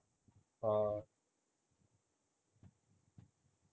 ਹਾਂ